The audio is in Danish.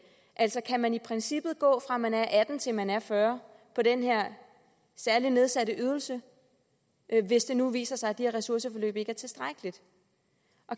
altså kan man i princippet gå fra man er atten til man er fyrre på den her særlige nedsatte ydelse hvis det nu viser sig at de her ressourceforløb ikke er tilstrækkeligt